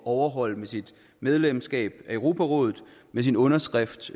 overholde med sit medlemskab af europarådet med sin underskrift